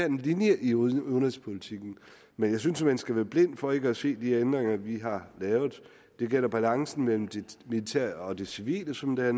en linje i udenrigspolitikken men jeg synes at man skal være blind for ikke at se de ændringer vi har lavet det gælder balancen mellem det militære og det civile som det er